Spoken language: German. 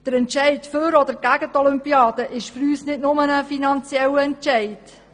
Der Entscheid für oder gegen die Olympiade ist für uns nicht nur finanzieller Natur.